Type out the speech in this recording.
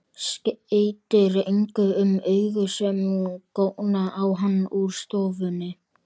Skeytir engu um augu sem góna á hann úr stofunni.